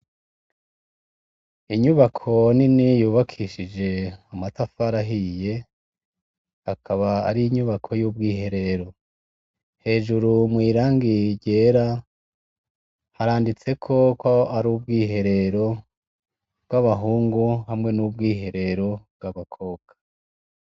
Inyubako nini yubakishije amatafari ahiye akaba Ari inyubako yubwibiherero. Hejuru mwirangi ryera handitseko hari ubwiherero bahungu hamwe nubwo Herero bw'abakobwa.